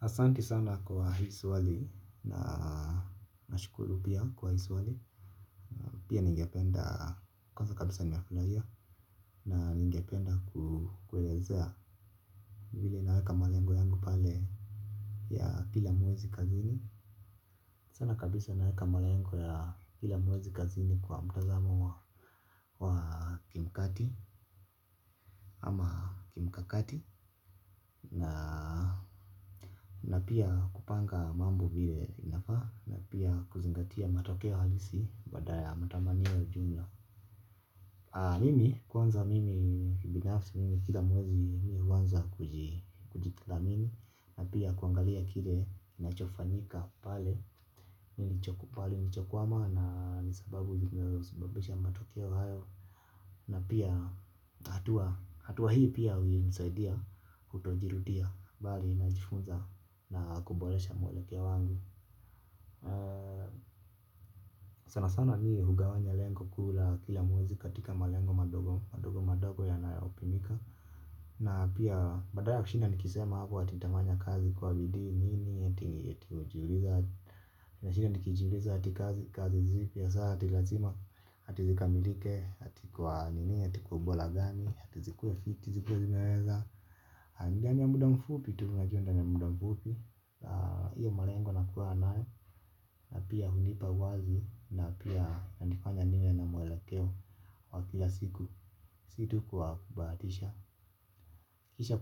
Asanti sana kwa hii swali na nashukulu pia kwa hii swali. Pia ningependa kwanza kabisa ninaflaria na ningependa kukuelezea. Vile naeka malengo yangu pale ya kila mwezi kazini. Sana kabisa naeka malengo ya kila mwezi kazini kwa mtazamo wa kimkati ama kimkakati na na pia kupanga mambo vile inafa. Na pia kuzingatia matokeo halisi. Badala ya matamania ujumla. Mimi kwanza mimi binafsi mimi kila mwezi. Mi uwanza kujithamini. Na pia kuangalia kile nachofanika pale pale unakokwama na pia sababu inayo sababisha matukio hayo. Na pia hatua, hatua hii pia umisaidia. Kutojirutia, bali najifunza. Na kubolesha mwolekia wangu. Sana sana ni hugawanya lengo kula. Kila muwezi katika malengo madogo madogo madogo yanaopimika. Na pia badala ya kushina nikisema hako. Atitamanya kazi kuwa bidi nini. Eti ujiuliza. Ati kazi kazi zipi. Ati lazima. Ati zikamilike. Ati kwa nini. Ati kwa ubola gani. Ati zikue fiti. Ati zikue zimeweza. Andani ya muda mfupi tu ndani ya muda mfupi. Iyo malengo nakuwa anaye. Na pia hunipa wazi na pia na nifanya nile na mwelekeo wa kila siku. Situ kubatisha kisha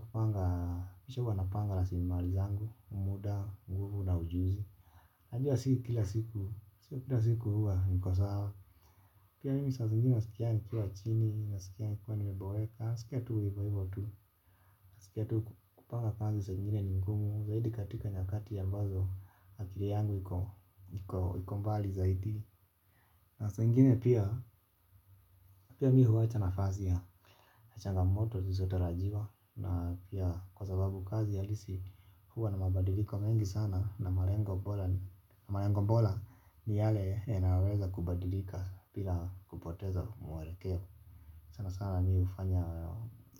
huwa napanga raslimali zangu muda nguvu na ujuzi. Najua siku kila siku, siku kila siku huwa niko saa. Pia mimi sazigine sikia nikiwa chini na sikia nikuwa nimebaweka. Sikia tu hivo hivo tu. Sikia tuu kupanga kanzi sangine ni mkumu. Zaidi katika nyakati ya mawazo akiri yangu ikombali zaidi. Na sa ingine pia, pia mi huwacha nafasi ya na changamoto, susotarajiwa. Na pia kwa sababu kazi alisi. Huwa na mabadiliko mengi sana. Na malengo bola ni yale. Inareza kubadilika pila kupoteza mwalekeo. Sana sana mi ufanya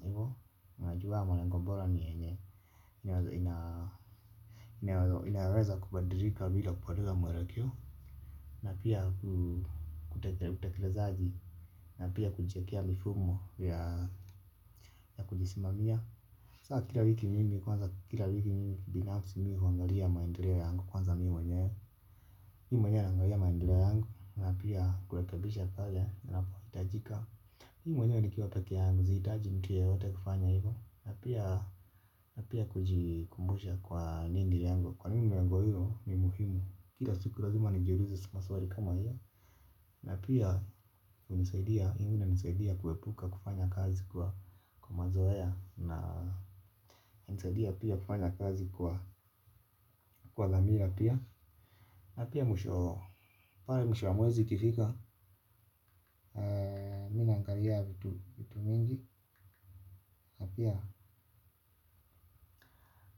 hivo. Inajua malengo bola ni yenye. Inaweza kubadilika pila kupoteza mwalekeo. Na pia kutekilezaji. Na pia kujiekea mifumo ya kujisimamia sasa kila wiki mimi huangalia maendeleo yangu binafsi ya mimi mwenyewe naangalia maendeleo yangu na pia kulekebisha pale panapoitaji mi mwenyewe nikiwa peke yangu siitajia mtu yeyote na pia kujikumbusha yangu kwa nini lego hilo ni muhimu. Kira siku razuma ni jiuluze maswari kama hiyo. Na pia unisaidia kuwepuka kufanya kazi kwa mazoea na unisaidia pia kufanya kazi kwa dhamira pia. Na pia mwisho wamwezi kifika na mi naangaria vitu mingi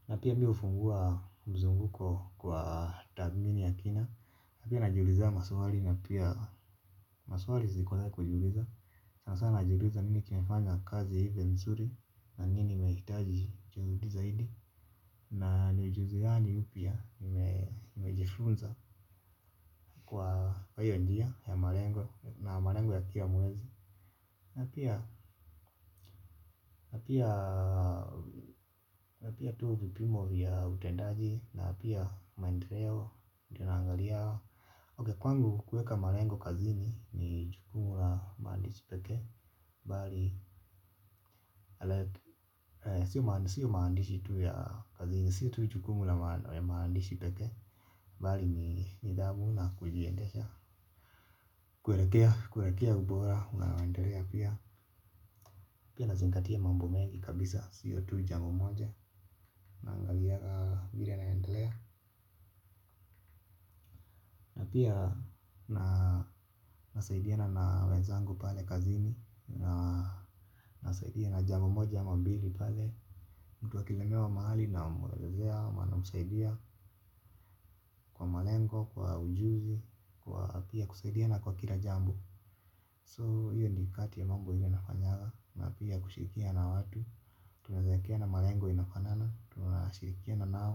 na pia miu fungua mzunguko kwa tathmini ya kina. Na pia najuliza maswari na pia maswari ziko za kujuliza. Sana sana jiuliza nini kimefanya kazi hivyo msuri. Na nini imehitaji juhudi zaidi. Na ni ujuzi gani upya. Nimejifunza kwa hiyo njia ya marengo. Na marengo ya kila mwezi. Na pia tu vipimo ya utendaji. Na pia maendereo. Tunaangaliao Ok kwangu kueka marengo kazini. Ni chukumu la maandishi peke bali sio maandishi tuya kazini sio tui chukumu la maandishi peke bali ni idabu na kujiendesha kuerekea ubora maendelea pia pia nazingatia mambo mengi kabisa sio tu jambo moja naangaliaga vire naendelea na pia nasaidiana na wenzangu pale kazi ni nasaidia na jambo moja ama mbili pale. Mtu akilemewa mahali na mwelezea, ama, namsaidia kwa malengo kwa ujuzi kwa pia kuisaidiana kwa kila jambo so hiyo ni kati ya mambo yenye nafanyanga na pia kushirikiana na watu tunaezaekena malengo inafanana tunashirikiana nao.